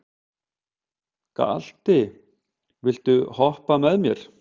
Galti, viltu hoppa með mér?